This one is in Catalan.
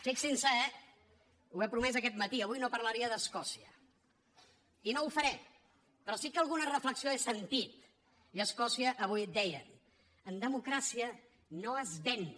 fixinse eh he promès aquest matí que avui no parlaria d’escòcia i no ho faré però sí que alguna reflexió he sentit i a escòcia avui deien en democràcia no es venç